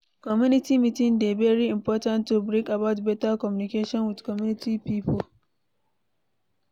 community meeting dey very important to bring about better communication with community pipo